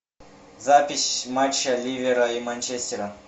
запись матча ливера и манчестера